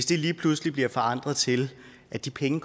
det lige pludselig bliver forandret til at de penge